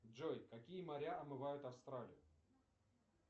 джой какие моря омывают австралию